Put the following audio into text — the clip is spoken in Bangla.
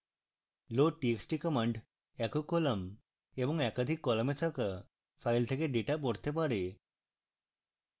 loadtxt command একক কলাম এবং একাধিক কলামে থাকা files থেকে ডেটা পড়তে পারে